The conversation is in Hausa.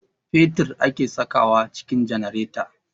Fetir ake sakawa a cikin janareta